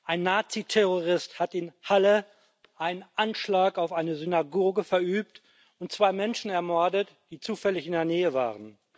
Ein Naziterrorist hat in Halle einen Anschlag auf eine Synagoge verübt und zwei Menschen ermordet, die zufällig in der Nähe waren.